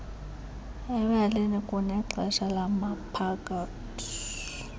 embalini kunexesha labaphathi